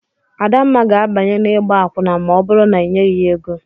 Adamma ga-abanye n'igba akwụna ma ọ bụrụ na inyeghi ya ego.